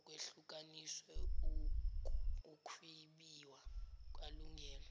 kwehlukaniswe ukwbiwa kwalungelo